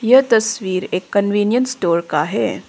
यह तस्वीर एक कन्वीनियंस स्टोर का है।